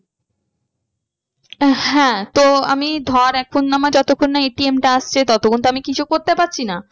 হ্যাঁ তো আমি ধর এখন আমার যতক্ষণ না ATM টা আসছে ততক্ষন তো আমি কিছু করতে পারছি না।